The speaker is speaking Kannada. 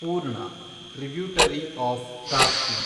ಪೂರ್ಣ, ಟ್ರಿಬ್ಯೂಟರಿ ಆಫ್ ತಾಪ್ತಿ